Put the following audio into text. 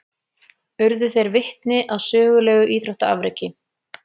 Urðu þeir vitni að sögulegu íþróttaafreki